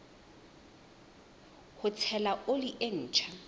ho tshela oli e ntjha